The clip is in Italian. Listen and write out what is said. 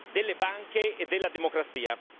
delle banche e della democrazia.